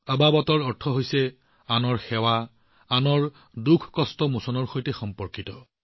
আবাবাতৰ অৰ্থ আনৰ সেৱাৰ সৈতে সম্পৰ্কিত ই আনৰ দুখকষ্ট উন্নত কৰাৰ সৈতে সম্পৰ্কিত